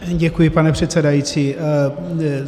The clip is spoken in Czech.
Děkuji, pane předsedající.